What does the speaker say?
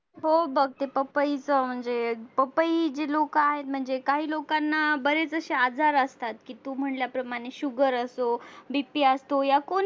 हो बघ ते पपईचा म्हणजे पपई जे आहे काही लोकांना बरेच असे आजार असतात कि तू म्हणल्याप्रमाणे sugar असतो BP असतो या कोण